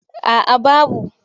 A a babu.